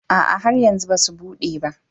A'a, har yanzu ba su bude ba